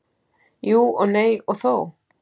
Jú og nei og þó.